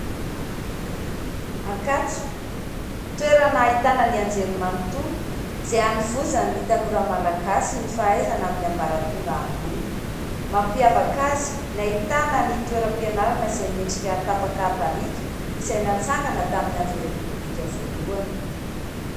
Ankatso, toerana nahitana ny anjery manontolo izay hanovozany ny tanora malagasy; ny fahaizana amin'ny ambaratonga ambony; mampiavaka azy ny ahitana ny toeram-pianarana izay miendrika tapaka barika izay natsangana tamin'ny andro repoblika voalohany